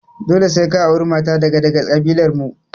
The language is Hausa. Dole sai ka auri mata daga daga ƙabilar mu!